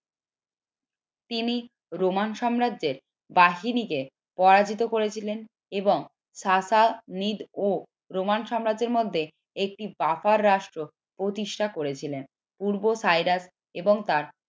তিনি রোমান সাম্রাজ্য বাহিনীকে পরাজিত করেছিলেন এবং ও রোমান সাম্রাজ্যের মধ্যে একটি রাষ্ট্র প্রতিষ্ঠা করেছিলেন পূর্বে সাইরাস এবং তার